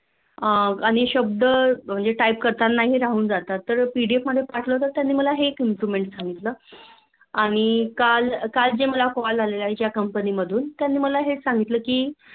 अह काही शब्द Type करताना हि राहुन जातात. तर PDF मध्ये पाठवणं हे त्यांनी मला हे Improvement सांगितलं. आणि काळ काळ जे मला Call आले आहे ज्या Company मधुन त्यांनी माळ हे च संगितलं कि